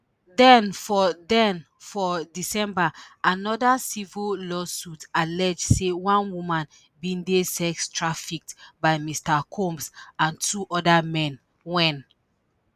den for den for december anoda civil lawsuit allege say one woman bin dey sex trafficked by mr combs and two oda men wen